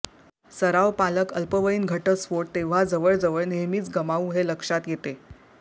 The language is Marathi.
सराव पालक अल्पवयीन घटस्फोट तेव्हा जवळजवळ नेहमीच गमावू हे लक्षात येते